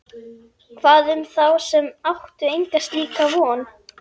Hvað um þá sem áttu enga slíka von?